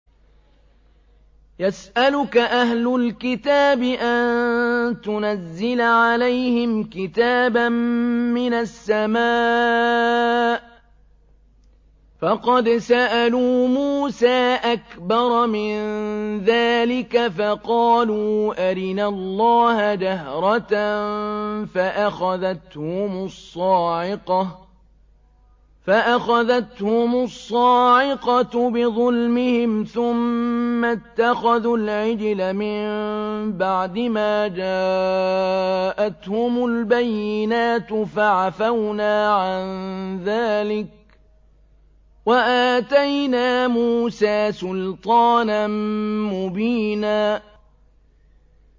يَسْأَلُكَ أَهْلُ الْكِتَابِ أَن تُنَزِّلَ عَلَيْهِمْ كِتَابًا مِّنَ السَّمَاءِ ۚ فَقَدْ سَأَلُوا مُوسَىٰ أَكْبَرَ مِن ذَٰلِكَ فَقَالُوا أَرِنَا اللَّهَ جَهْرَةً فَأَخَذَتْهُمُ الصَّاعِقَةُ بِظُلْمِهِمْ ۚ ثُمَّ اتَّخَذُوا الْعِجْلَ مِن بَعْدِ مَا جَاءَتْهُمُ الْبَيِّنَاتُ فَعَفَوْنَا عَن ذَٰلِكَ ۚ وَآتَيْنَا مُوسَىٰ سُلْطَانًا مُّبِينًا